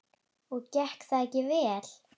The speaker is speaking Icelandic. Og gekk það ekki vel.